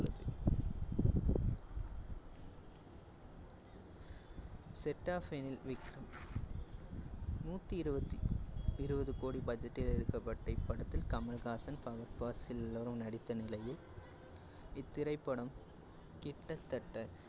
set of நூத்தி இருவத்தி~ இருவது கோட budget ல் எடுக்கப்பட்ட இப்படத்தில் கமல்ஹாசன், ஃபஹத் பாசில் எல்லோரும் நடித்த் நிலையில் இத்திரைப்படம் கிட்டத்தட்ட